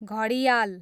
घडियाल